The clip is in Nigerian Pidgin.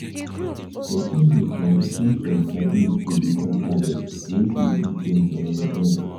person dey transition from childhood to become adult wey fit do things on im own